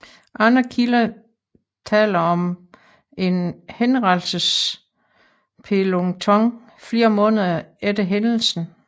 Andre kilder taler om en henrettelsespeloton flere måneder efter hændelsen